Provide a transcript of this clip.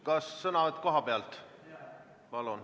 Kas sõnavõtt kohapealt?